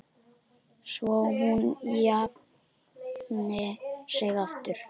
Svo hún jafni sig aftur.